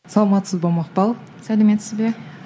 саламатсыз ба мақпал сәлеметсіз бе